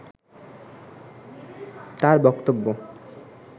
তার বক্তব্য